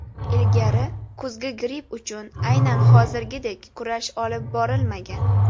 Ilgari kuzgi gripp uchun aynan hozirgidek kurash olib borilmagan.